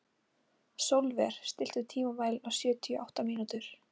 Sólver, stilltu tímamælinn á sjötíu og átta mínútur.